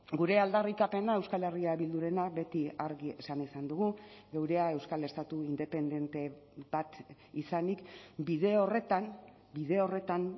gure aldarrikapena euskal herria bildurena beti argi esan izan dugu geurea euskal estatu independente bat izanik bide horretan bide horretan